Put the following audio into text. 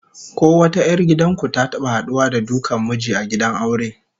Ko wata 'yar gidan ku ta taba haduwa da dukan miji a gidan aure?